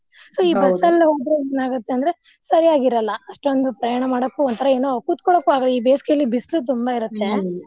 ಬಸ್ಸಲ್ಲಿ ಹೋದ್ರೆ ಏನ್ ಆಗತ್ತೆ ಅಂದ್ರೆ ಸರಿಯಾಗಿರಲ್ಲಾ ಅಷ್ಟೊಂದು ಪ್ರಯಾಣ ಮಾಡಾಕು ಒಂತರಾ ಏನೊ ಕುತ್ಕೊಳ್ಳೊಕು ಆಗಲ್ಲಾ. ಈ ಬೆಸ್ಗೆಲಿ ಬಿಸ್ಲು ತುಂಬಾ .